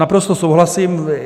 Naprosto souhlasím.